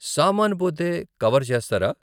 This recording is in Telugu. సామాను పోతే కవర్ చేస్తారా?